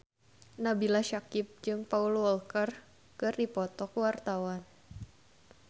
Nabila Syakieb jeung Paul Walker keur dipoto ku wartawan